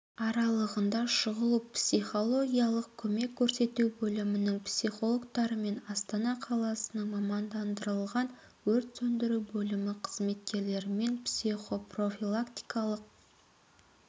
аралығында шұғыл психологиялық көмек көрсету бөлімінің психологтарымен астана қаласының мамандандырылған өрт сөндіру бөлімі қызметкерлерімен психопрофилактикалық